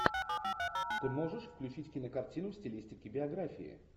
ты можешь включить кинокартину в стилистике биографии